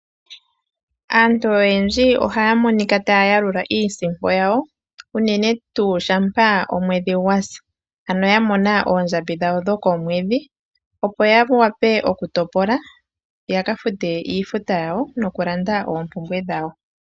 Aantu oyendji ohaya monika taya yalula iisimpo yawo unene tuu shampa omwedhi gwasi ano ya mona oondjambi dhawo dho komwedhi, opo ya wape okutopola ya kalande oompumbwe dhawo nokufuta iifuta yawo.